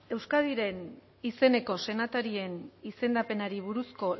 euskadiren izeneko senatarien izendapenari buruzko